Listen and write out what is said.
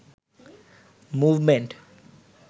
movement